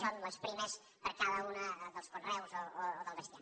són les primes per a cada un dels conreus o del bestiar